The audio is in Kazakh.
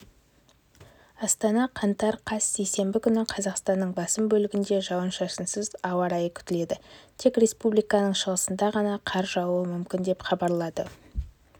астана қаңтар қаз сейсенбі күні қазақстанның басым бөлігінде жауын-шашынсыз ауа райы күтіледі тек республиканың шығысында ғана қар жаууы мүмкін деп хабарлады